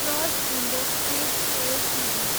Praj industries Ltd